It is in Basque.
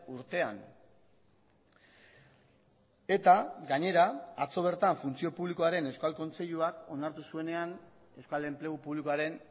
urtean eta gainera atzo bertan funtzio publikoaren euskal kontseiluak onartu zuenean euskal enplegu publikoaren